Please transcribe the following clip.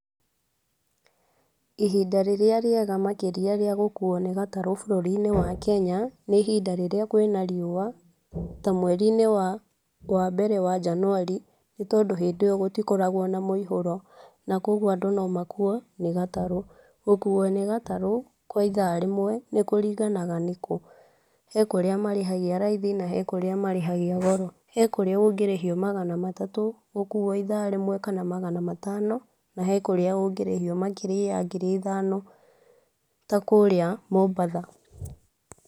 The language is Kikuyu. Ihinda rĩrĩa rĩega makĩria rĩa gũkũo nĩ gatarũ bũrũri-inĩ wa Kenya nĩ ihinda rĩrĩa kwina riũa ta mweri-inĩ wa mbere wa njanuari nĩ tondũ hindio gũtikoragwo na mũihũro, na kogũo andũ nomakũo nĩ gatarũ. Gũkũo nĩ gatarũ kwa ithaa rĩmwe nĩ kũringanaga nĩkũ, hekũrĩa marĩhagia raithi na hekũrĩa marĩhagia goro. Hekũrĩa ũngĩrĩhio magana matatu gũkũo ithaa rĩmwe kana magana matano na hekũrĩa ũngĩrĩhio makĩria ya ngiri ithano takũrĩa mombatha.